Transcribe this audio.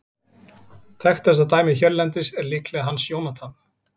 Þekktasta dæmið hérlendis er líklega Hans Jónatan.